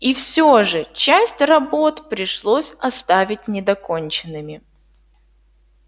и всё же часть работ пришлось оставить недоконченными